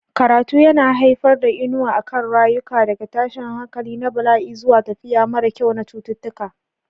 Karatu yana haifar da inuwa a kan rayuka, daga tashin hankali na bala'i zuwa tafiya mara kyau na cututtuka.